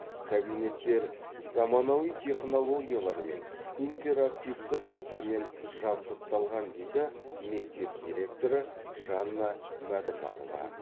кабинеттер заманауи технологиялармен интерактивті тақтамен жабдықталған дейді мектеп директоры жанна мәдімарова